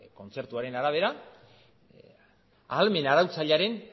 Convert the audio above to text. kontzertuaren arabera ahalmen arautzailearen